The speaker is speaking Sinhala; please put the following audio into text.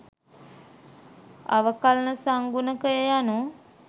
අවකලන සංගුණකය යනූ